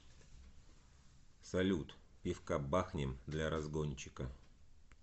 салют пивка бахнем для разгончика